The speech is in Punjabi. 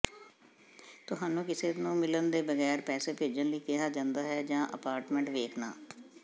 ਤੁਹਾਨੂੰ ਕਿਸੇ ਨੂੰ ਮਿਲਣ ਤੋਂ ਬਗੈਰ ਪੈਸੇ ਭੇਜਣ ਲਈ ਕਿਹਾ ਜਾਂਦਾ ਹੈ ਜਾਂ ਅਪਾਰਟਮੈਂਟ ਵੇਖਣਾ